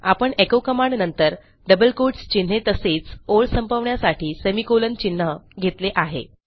आपण एचो कमांडनंतर double quotes चिन्हे तसेच ओळ संपवण्यासाठी सेमिकोलॉन चिन्ह घेतले आहे